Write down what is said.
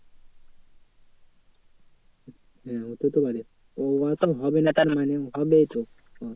হ্যাঁ হতে পারে